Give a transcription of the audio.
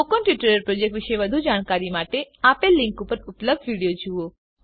spoken tutorial project વિશે વધુ જાણકારી માટે આપેલ લીંક પર ઉપલબ્ધ વિડીયો જુઓ